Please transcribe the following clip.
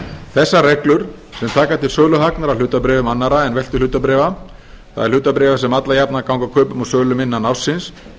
þessar reglur sem taka til söluhagnaðar af hlutabréfum annarra en veltuhlutabréfa það er hlutabréfa sem alla jafna ganga kaupum og sölum innan ársins